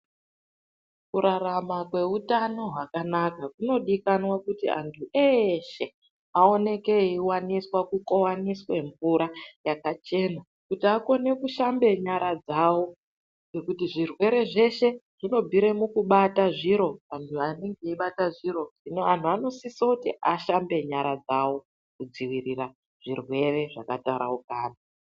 Kurarama kweutano hwakanaka kunodikanwa kuti antu eshe aoneke eivaniswa kukovaniswe mvura yakachena. Kuti akone kushamba nyara dzavo ngekuti zvirwere zveshe zvinobvire mukubata zviro vantu zvanenge eibata zviro. Zvino antu anosise kuti ashambe nyara dzavo kudzivirira zvirwere zvakataraukana.